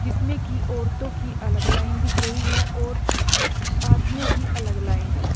जिसमे की औरतों की अलग लाइन दिख रही है और आदमियों की अलग लाइन --